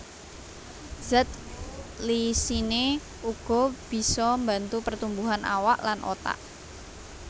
Zat lysine uga bisa mbantu pertumbuhan awak lan otak